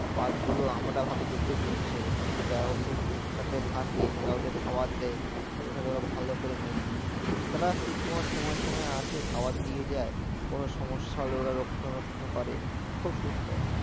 বাঘগুলো আমরা ভাবি যে খুব হিংস্র কিন্তু যারা ওদের সাথে থাকে যারা ওদের খাবার দেয় তাদের সাথে ওরা ভালো করে মেশে তারা শুধু তোমার সময় সময় আসে খাবার দিয়ে যায় কোনো সমস্যা হলে ওরা রক্ষনাবেক্ষন করে খুব সুন্দর